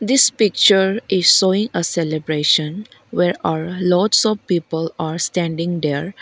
this picture is showing a celebration where err lots of people are standing there.